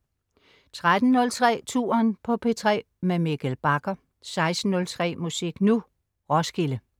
13.03 Touren på P3 Mikkel Bagger 16.03 Musik Nu! Roskilde